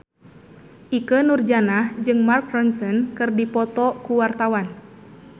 Ikke Nurjanah jeung Mark Ronson keur dipoto ku wartawan